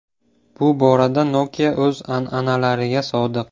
Bu borada Nokia o‘z an’analariga sodiq.